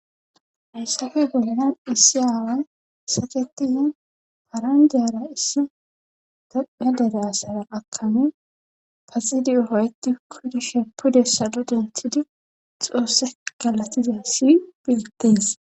hayssafe boldan issi aaway satetihi parandyara issi dodna dere asara akami paxidiyo hoyti kodi sheppu dessado dentidi xoosse galatiza si betetes